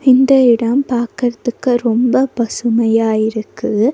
இந்த இடம் பாக்கறதுக்கு ரொம்ப பசுமையா இருக்கு.